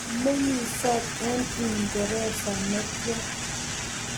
komeng'isot eng' uingeresa ne tya?